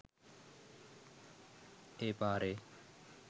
ඒ පාරේ